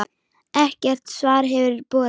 Ekkert svar hefur borist.